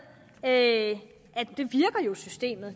at systemet